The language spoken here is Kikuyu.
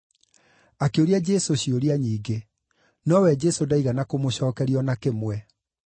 Akĩũria Jesũ ciũria nyingĩ, nowe Jesũ ndaigana kũmũcookeria o na kĩmwe.